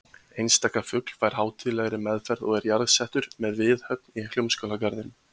Einstaka fugl fær hátíðlegri meðferð og er jarðsettur með viðhöfn í Hljómskálagarðinum!